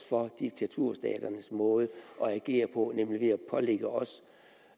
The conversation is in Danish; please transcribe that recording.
for diktaturstaters måde at agere på nemlig at pålægge os